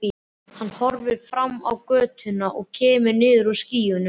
Hann horfir fram á götuna og kemur niður úr skýjunum.